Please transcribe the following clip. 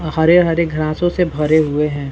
अ हरे-हरे ग्रासों से भरे हुए है।